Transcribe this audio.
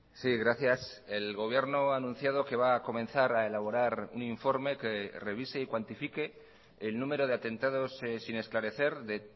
sí gracias el gobierno ha anunciado que va a comenzar a elaborar un informe que revise y cuantifique el número de atentados sin esclarecer de